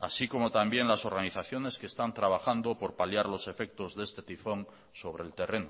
así como también las organizaciones que están trabajando por paliar los efectos de este tifón sobre el terreno